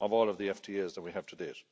of all of the FTAs that we have to date.